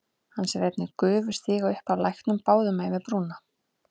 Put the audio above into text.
Hann sér einnig gufu stíga upp af læknum báðum megin við brúna.